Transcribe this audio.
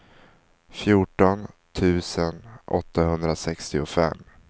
fjorton tusen åttahundrasextiofem